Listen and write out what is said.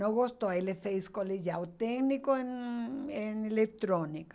Não gostou, ele fez colegial técnico em eletrônica.